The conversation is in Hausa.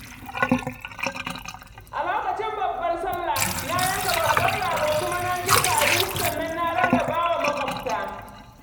A lokacin babbar Sallah, na yanka babban rago kuma na girka abinci sannan na rarraba wa maƙwabtana.